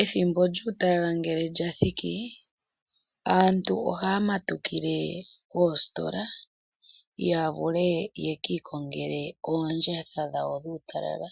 Ethimbo lyuutalala ngele lya thiki aantu ohaya matukile koositola ya vule yeki ikongele oondjatha dhawo dhuutalala